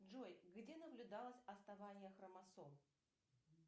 джой где наблюдалось отставание хромосом